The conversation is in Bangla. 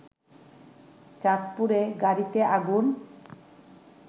চাঁদপুরে গাড়িতে আগুন